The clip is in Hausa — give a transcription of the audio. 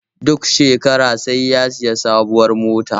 Duk shekara sai ya sayi sabuwar mota